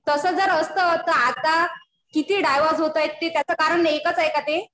तसं जर असतं तर आता किती डायव्होर्स होत आहे. त्याच कारण एकच आहे का ते.